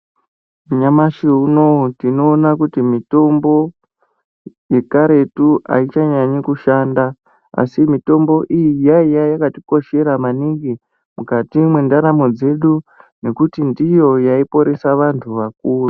Nyamashi unou tinoona kuti mitombo yekaretu aichanyanyishanda asi mitombo iyi yaiya yakatikoshera maningi mukati mundaramo dzedu ngekuti ndiyo yaiporesa vantu vakuru.